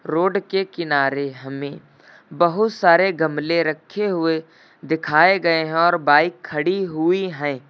Road के किनारे हमें बहुत सारे गमले रखे हुए दिखाए गए हैं और बाइक खड़ी हुई है।